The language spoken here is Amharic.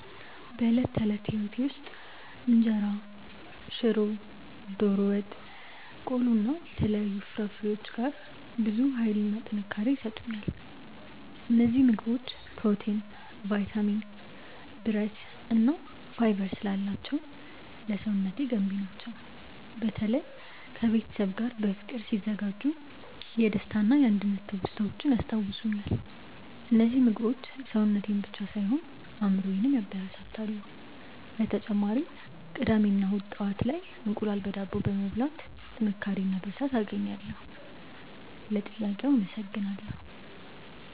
በዕለት ተዕለት ሕይወቴ ውስጥ እንጀራ፣ ሽሮ፣ ዶሮ ወጥ፣ ቆሎ እና የተለያዩ ፍራፍሬዎች ጋር ብዙ ኃይልና ጥንካሬ ይሰጡኛል። እነዚህ ምግቦች ፕሮቲን፣ ቫይታሚን፣ ብረት እና ፋይበር ስላላቸው ለሰውነቴ ገንቢ ናቸው። በተለይ ከቤተሰብ ጋር በፍቅር ሲዘጋጁ የደስታና የአንድነት ትውስታዎችን ያስታውሱኛል። እነዚህ ምግቦች ሰውነቴን ብቻ ሳይሆን አእምሮዬንም ያበረታታሉ። በተጨማሪም ቅዳሜ እና እሁድ ጠዋት ላይ እንቁላል በዳቦ በመብላት ጥንካሬ እና ብርታት አገኛለሁ። ለጥያቄው አመሰግናለሁ።